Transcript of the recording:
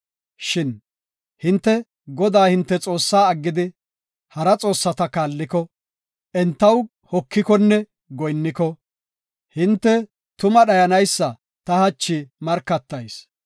Shin hinte Godaa hinte Xoossaa aggidi, hara xoossata kaalliko, entaw hokikonne goyinniko, hinte tuma dhayanaysa ta hachi markatayis.